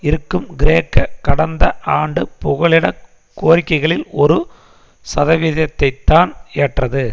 இருக்கும் கிரேக்க கடந்த ஆண்டு புகலிடக் கோரிக்கைகளில் ஒரு சதவிதத்தைத்தான் ஏற்றது